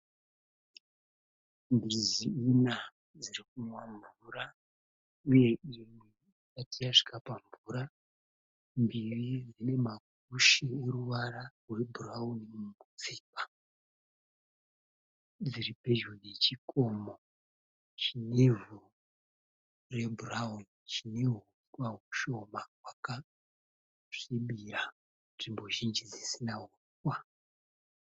Mbizi ina dziri kunwa mvura uye imwe isati yasvika pamvura. Mbiri dzine makushe eruvara rwebhurawuni mumutsipa. Dziri pedyo nechikomo chinevhu rebhurawuni chine huswa hushoma hwakasvibira. Nzvimbo zhinji dzisina huswa.